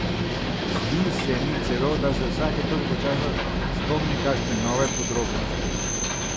Zdi se mi celo, da se vsake toliko časa spomnim kakšne nove podrobnosti.